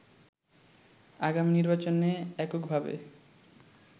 আগামী নির্বাচনে এককভাবে